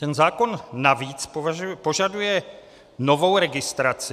Ten zákon navíc požaduje novou registraci.